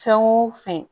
Fɛn o fɛn